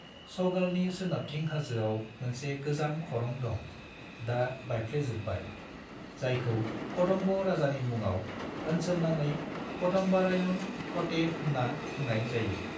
सगालनि सोनाबथिं हाजोआव मोनसे गोजाम खरं दं, दा बायफ्लेजोबनाय, जायखौ कदम्ब राजानि मुङाव ओनसोलनाङै कदम्बारायण कोटे होन्ना बुंनाय जायो।